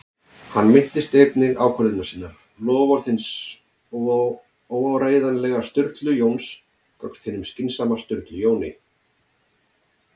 Hann minnist einnig ákvörðunar sinnar- loforðs hins óáreiðanlega Sturlu Jóns gagnvart hinum skynsama Sturlu Jóni